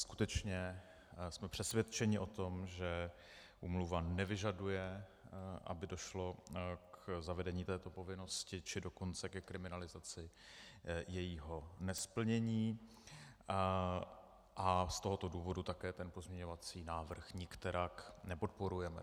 Skutečně jsme přesvědčeni o tom, že úmluva nevyžaduje, aby došlo k zavedení této povinnosti, či dokonce ke kriminalizaci jejího nesplnění, a z tohoto důvodu také ten pozměňovací návrh nikterak nepodporujeme.